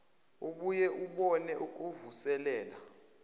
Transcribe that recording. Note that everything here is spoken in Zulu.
ubuye ubone ukuvuselela